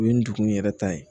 U ye ndugun yɛrɛ ta ye